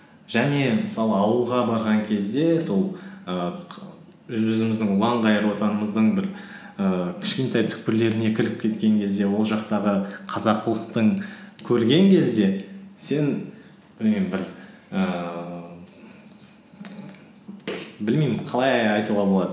және мысалы ауылға барған кезде сол ііі жүзіміздің ұланғайырлы отанымыздың бір ііі кішкентай түкпірлеріне кіріп кеткен кезде ол жақтағы қазақылықтың көрген кезде сен білмеймін бір ііі білмеймін қалай айтуға болады